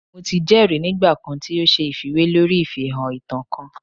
Mo ti jẹri nigba kan ti o ṣe ifiwe lori ifihan ita kan